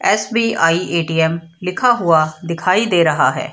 SBI. ATM. लिखा हुआ दिखाई दे रहा है।